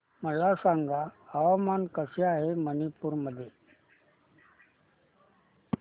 मला सांगा हवामान कसे आहे मणिपूर मध्ये